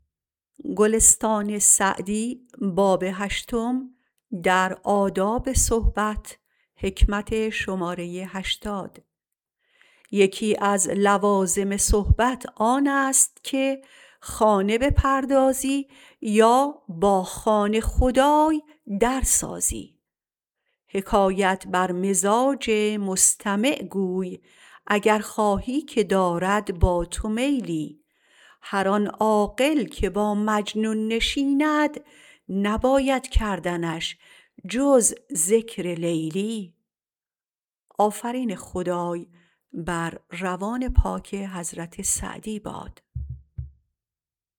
یکی از لوازم صحبت آن است که خانه بپردازی یا با خانه خدای در سازی حکایت بر مزاج مستمع گوی اگر خواهی که دارد با تو میلی هر آن عاقل که با مجنون نشیند نباید کردنش جز ذکر لیلی